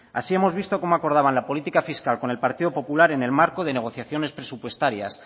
así hemos visto cómo acordaban la política fiscal con el partido popular en el marco de negociaciones presupuestarias